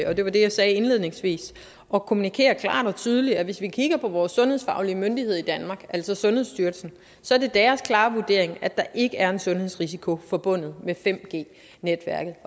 og det var det jeg sagde indledningsvis at kommunikere klart og tydeligt og hvis vi kigger på vores sundhedsfaglige myndigheder i danmarks altså sundhedsstyrelsens så er det deres klare vurdering at der ikke er en sundhedsrisiko forbundet med 5g netværket